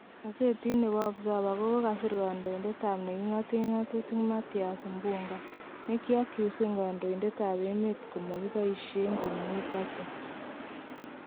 Gozeti nebo Observer kokasir kondoidet at kot nekingoten ngotutik Mathias Mpuuga ne kioacusen kondoidet tab emet komokiboishen komie budget.